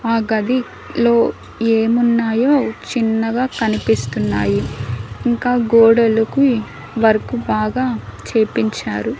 ఆ గది లో ఏమున్నాయో చిన్నగా కనిపిస్తున్నాయి ఇంకా గోడలుకి వర్క్ బాగా చేపించారు.